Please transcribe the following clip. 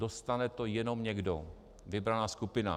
Dostane to jenom někdo, vybraná skupina.